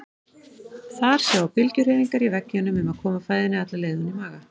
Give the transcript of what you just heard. Þar sjá bylgjuhreyfingar í veggjunum um að koma fæðunni alla leið ofan í maga.